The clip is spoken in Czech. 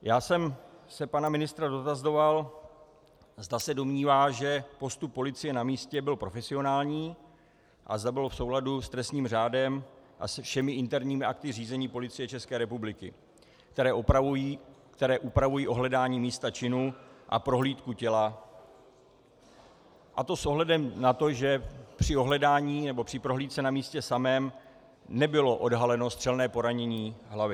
Já jsem se pana ministra dotazoval, zda se domnívá, že postup policie na místě byl profesionální a zda byl v souladu s trestním řádem a se všemi interními akty řízení Policie České republiky, které upravují ohledání místa činu a prohlídku těla, a to s ohledem na to, že při ohledání nebo při prohlídce na místě samém nebylo odhaleno střelné poranění hlavy.